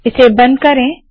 इसे बंद करे